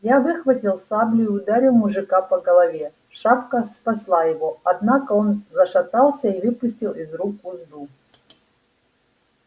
я выхватил саблю и ударил мужика по голове шапка спасла его однако он зашатался и выпустил из рук узду